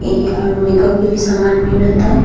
इ और मेकअप के भी सामान मिलाता।